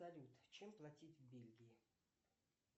салют чем платить в бельгии